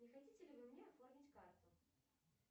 не хотите ли вы мне оформить карту